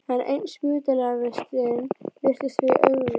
Enn ein spítalavistin virtist því augljós.